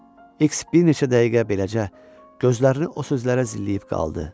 X bir neçə dəqiqə beləcə, gözlərini o sözlərə zilləyib qaldı.